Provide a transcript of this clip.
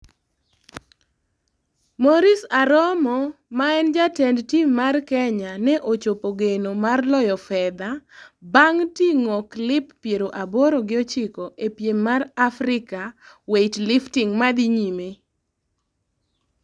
Maurice Aromo maen jatend tim mar Kenya ne ochopo geno mar loyo fedha bang tingo kilp piero aboro gi ochiko e piem mar Africa Weightlifting madhi nyime